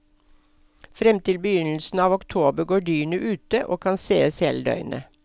Frem til begynnelsen av oktober går dyrene ute og kan sees hele døgnet.